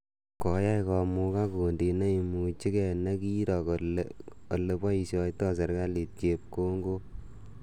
Koai komukak kundit neimuchikei ne ki roo kole ole poishoitoi serikalit chepkongok.